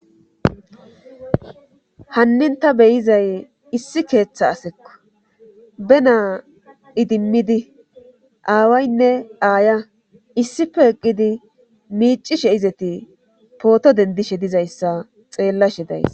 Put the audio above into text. Hannin ta beyizay issi keeththa asekko be naa idimmidi aawaynne aaya issipe eqqidi miicishe izeti pooto dendishe dizayssa xeella she days